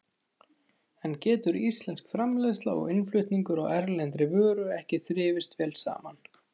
En getur íslensk framleiðsla og innflutningur á erlendri vöru ekki þrifist vel saman?